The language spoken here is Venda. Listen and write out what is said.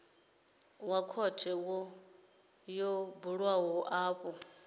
wa khothe yo bulwaho afho